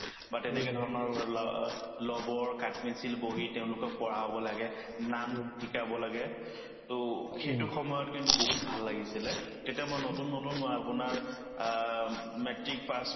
বা তেনেকে ধৰণৰ লা‍‍ ৰবৰ, কাঠপেঞ্চিল, বহী তেওঁলোকক পঢ়াব লাগে নাম শিকাব লাগে to সেইটো সময়ত কিন্তু বহুত ভাল লাগিছিলে তেতিয়া মই নতুন নতুন অ আপোনাৰ আ উম matrix pass